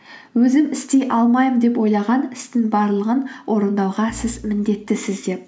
өзім істей алмаймын деп ойлаған істің барлығын орындауға сіз міндеттісіз деп